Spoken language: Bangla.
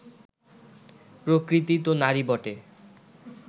প্রকৃতি তো নারী বটে